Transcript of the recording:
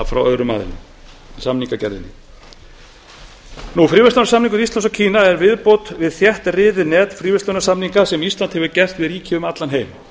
frá öðrum aðilum samningagerðinni fríverslunarsamningur íslands og kína er viðbót við þéttriðið net fríverslunarsamninga sem ísland hefur gert við ríki um allan heim